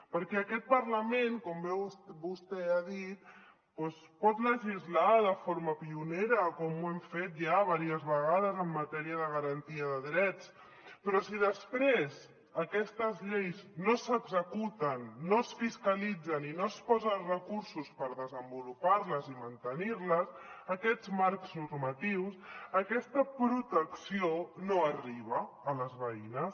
perquè aquest parlament com bé vostè ha dit pot legislar de forma pionera com ho hem fet ja diverses vegades en matèria de garantia de drets però si després aquestes lleis no s’executen no es fiscalitzen i no es posen recursos per desenvolupar les i mantenir les aquests marcs normatius aquesta protecció no arriba a les veïnes